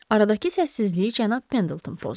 Aradakı səssizliyi cənab Pendleton pozdu.